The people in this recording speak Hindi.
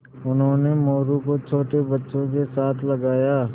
उन्होंने मोरू को छोटे बच्चों के साथ लगाया